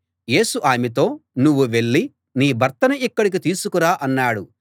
యేసు ఆమెతో నువ్వు వెళ్ళి నీ భర్తను ఇక్కడికి తీసుకురా అన్నాడు